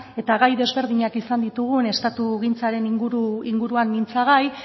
eta gai ezberdinak izan ditugu estatugintzaren inguruan mintzagai